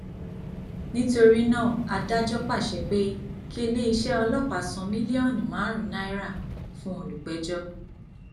nítorí náà adájọ pàṣẹ pé kí iléeṣẹ ọlọpàá san mílíọnù márùn náírà fún olùpẹjọ